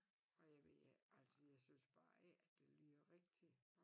Og jeg ved ikke altså jeg synes bare ikke at det lyder rigtig